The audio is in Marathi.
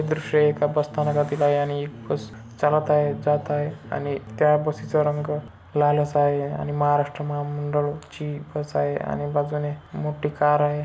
हे दृश्य एका बस स्थानकातील आहे आणि एक बस चालत आहेत जात आहेत आणि त्या बस चा रंग लाल असा आहे आणि महाराष्ट्र महामंडळ ची बस आहे आणि बाजूने मोठी कार आहे.